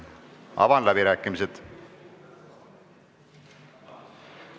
Avan läbirääkimised.